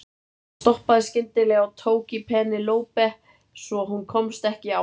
Hann stoppaði skyndilega og tók í Penélope svo hún komst ekki áfram.